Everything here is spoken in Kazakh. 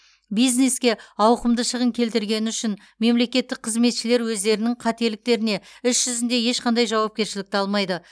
бизнеске ауқымды шығын келтіргені үшін мемлекеттік қызметшілер өздерінің қателіктеріне іс жүзінде ешқандай жауапкершілікті алмайды